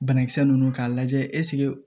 Banakisɛ ninnu k'a lajɛ ɛseke